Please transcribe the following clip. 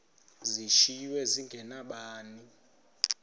zishiywe zinge nabani